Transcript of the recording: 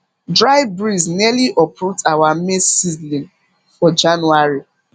dry breeze nearly uproot our maize seedlings for january